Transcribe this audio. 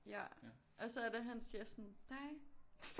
Ja og så er det han siger sådan dig